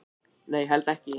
Nei, held ekki